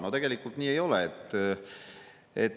No tegelikult nii ei ole.